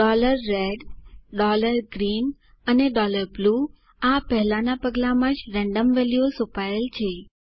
red green and blueઆ પહેલાના પગલામાં જ રેન્ડમ વેલ્યુઓ સોંપાયેલ છે